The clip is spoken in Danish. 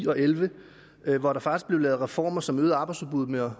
og elleve hvor der faktisk blev lavet reformer som øgede arbejdsudbuddet med